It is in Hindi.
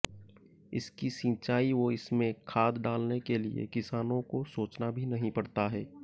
इसकी सिंचाई व इसमें खाद डालने के लिए किसानों को सोचना भी नहीं पड़ता है